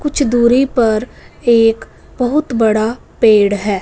कुछ दूरी पर एक बहुत बड़ा पेड़ है।